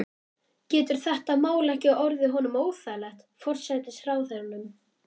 Getur þetta mál ekki orðið honum óþægilegt, forsætisráðherranum?